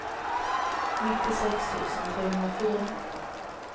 nittiosex tusen trehundrafyra